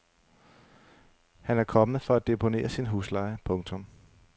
Han er kommet for at deponere sin husleje. punktum